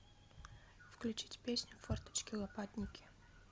включить песню форточки лопатники